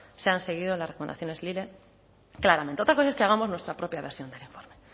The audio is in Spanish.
se han seguido las recomendaciones lile claramente otra cosa es que hagamos nuestra propia versión del informe